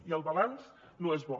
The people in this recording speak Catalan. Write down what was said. i el balanç no és bo